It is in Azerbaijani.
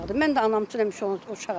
Mən də anam üçün həmişə uşağam.